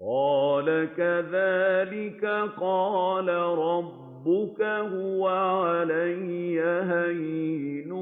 قَالَ كَذَٰلِكَ قَالَ رَبُّكَ هُوَ عَلَيَّ هَيِّنٌ